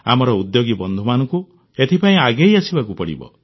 ଆମର ଉଦ୍ୟୋଗୀ ବନ୍ଧୁମାନଙ୍କୁ ଏଥିପାଇଁ ଆଗେଇ ଆସିବାକୁ ପଡ଼ିବ